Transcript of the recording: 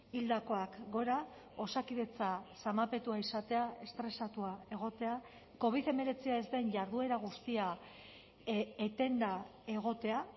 hildakoak gora osakidetza zamapetua izatea estresatua egotea covid hemeretzia ez den jarduera guztia etenda egotea